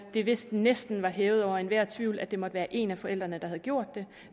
det vist næsten hævet over enhver tvivl at det måtte have været en af forældrene der havde gjort det